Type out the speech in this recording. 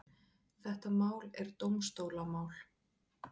Þetta mál er dómstólamál.